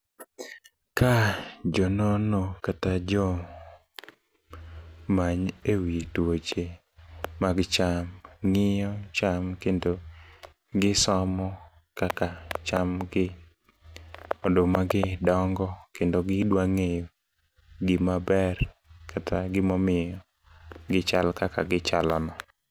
Ka jonono kata jo many e wi tuoche mag cham ng'iyo cham kendo gisomo kaka cham gi oduma gi dongo kendo gidwa ng'eyo gima ber kata gimomiyo gichal kaka gichalo no.